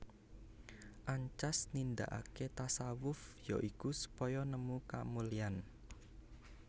Ancas nindakaké tasawuf ya iku supaya nemu kamulyan